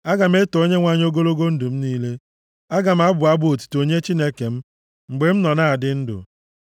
Aga m eto Onyenwe anyị ogologo ndụ m niile; aga m abụ abụ otuto nye Chineke m mgbe m nọ na-adị ndụ.